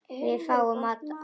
Við fáum mat að morgni.